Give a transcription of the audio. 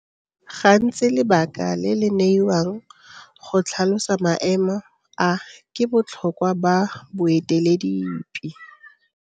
Gantsi lebaka le le neiwang go tlhalosa maemo a ke botlhokwa ba boeteledipe.